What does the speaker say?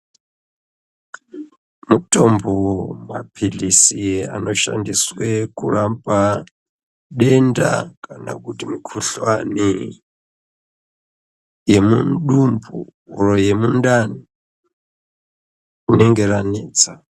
Mutombo wemaphilizi anoshandiswe kurapa denda kana kuti mukhuhlani yemudumbu oro yemundani rinenge ranetsa.